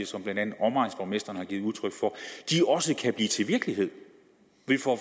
som blandt andet omegnsborgmestrene har givet udtryk for også kan blive til virkelighed vi får